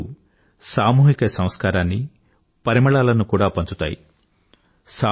మన పండుగలు సామూహిక సంస్కారాన్ని పరిమళాలను కూడా పంచుతాయి